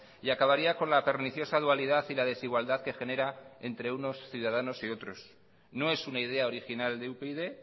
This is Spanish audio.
y acabaría con la perniciosa dualidad y la desigualdad que genera entre unos ciudadanos y otros no es una idea original de upyd